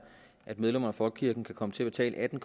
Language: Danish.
at medlemmer af folkekirken kan komme til at betale atten